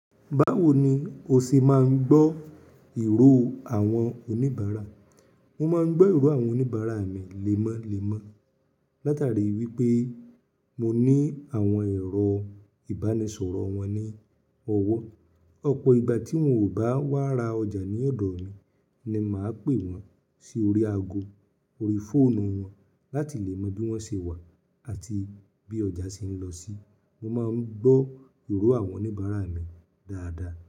Báwo ni o ṣe máa ń gbọ́ ìró àwọn oníbàárà? Mo máa ń gbọ́ ìró àwọn oníbàárà mi lẹ́mọ́lẹ́mọ́, látàrí wípé mo ní àwọn ẹ̀rọ ìbánisọ̀rọ̀ wọn ní ọwọ́. Ọ̀pọ̀ ìgbà tí wón kò bá wá ra ọjà ní ọ̀dọ̀ mi ni màá pè wón sí orí aago, orí fóònù wọn láti lè mọ bí wọ́n ṣe wà àti bí ọjà ṣe ń lọ sí. Mo máa ń gbọ́ ìró àwọn oníbàárà mi dáadáa.